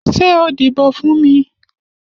Ṣé o díbò fún mi?